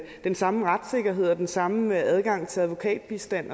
den samme retssikkerhed og den samme adgang til advokatbistand